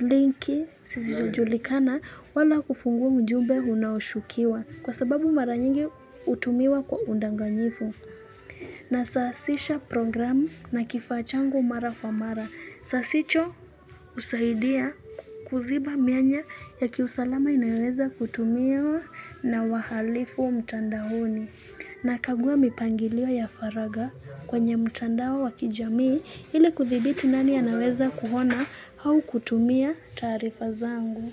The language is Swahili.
linki zisizo julikana wala kufungua ujumbe unaoshukiwa. Kwa sababu mara nyingi utumiwa kwa undanganyifu. Na sasisha programu na kifa changu mara kwa mara. Sasicho husaidia kuziba mianya ya kiusalama inayoweza kutumiwa na wahalifu mtandaoni. Na kagua mipangiliwa ya faraga kwenye mtandao wa wakijamii ili kuthibiti nani anaweza kuona au kutumia taarifa zangu.